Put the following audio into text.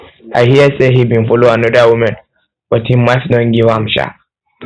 i hear say he bin follow another woman but him wife don forgive am shaa